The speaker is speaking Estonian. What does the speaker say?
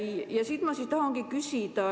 Ja selle kohta ma tahangi küsida.